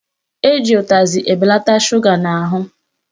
Eji utazị ebelata shuga n'ahụ